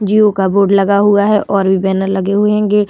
जियो का बोर्ड लगा हुआ है और भी बैनर लगे हुए है गेट --